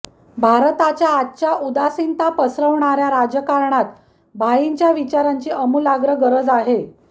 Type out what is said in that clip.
भारताच्या आजच्या उदासीनता पसरवणाऱ्या राजकारणात भाईंच्या विचारांची आमूलाग्र गरज आहे